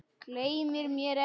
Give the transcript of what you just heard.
Gleymir mér ekki.